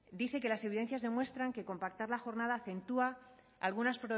dice que las evidencias demuestran que compactar la jornada acentúa algunas